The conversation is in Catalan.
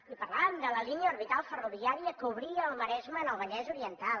i parlàvem de la línia orbital ferroviària que obria el maresme al vallès oriental